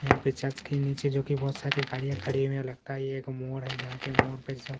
यहां पे चर्च के नीचे जोकि बहुत सारे गाड़ियां खड़ी हुई है लगता है ये एक मोड़ है जहां पर मोड पे--